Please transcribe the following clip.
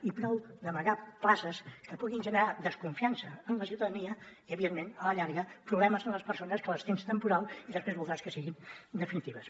i prou d’amagar places que puguin generar desconfiança en la ciutadania i evidentment a la llarga problemes amb les persones que les tens temporals i després voldràs que siguin definitives